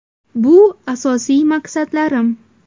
Bu asosiy maqsadlarim”.